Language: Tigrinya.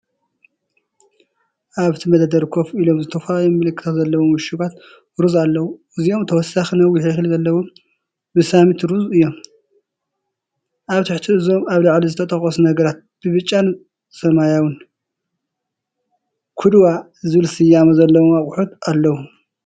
ኣብቲ መደርደሪ ኮፍ ኢሎም ዝተፈላለዩ ምልክታት ዘለዎም ዕሹጋት ሩዝ ኣለዉ። እዚኦም ተወሳኺ ነዊሕ እኽሊ ዘለዎም ባስማቲ ሩዝ እዮም። ኣብ ትሕቲ እዞም ኣብ ላዕሊ ዝተጠቕሱ ነገራት ብብጫን ሰማያውን "QUDWA" ዝብል ስያመ ዘለዎም ኣቑሑት ኣለዉ።